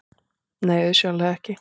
Nei, auðsjáanlega ekki.